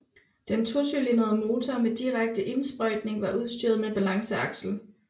Den tocylindrede motor med direkte indsprøjtning var udstyret med balanceaksel